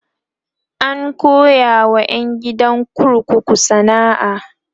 an koya wa ƴan gidan kurkukun sana'a